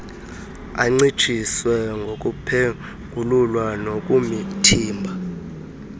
ancitshiswe ngokuphengulula nokuthimba